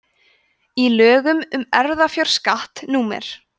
í lögum um erfðafjárskatt númer